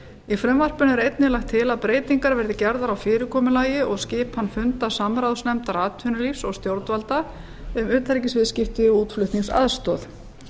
í frumvarpinu er einnig lagt til að breytingar verði gerðar á fyrirkomulagi og skipan funda samráðsnefndar atvinnulífs og stjórnvalda um utanríkisviðskipti og útflutningsaðstoð